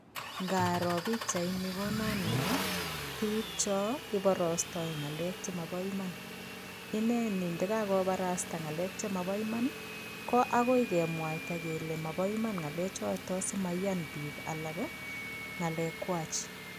Ngaro pikchaini kononwo biik cho iborostoi ng'alek chemabo iman ineni ndikakobarasta ng'alek chemabo iman ko akoi kemwaita kele mabo Iman ng'ale chito simaiyan biik alak ng'alekwach